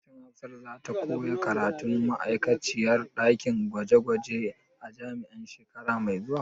Shin Hafsat za ta koya karatun ma'aikaciyar ɗakin gwaje gwaje a jami'a shekara mai zuwa?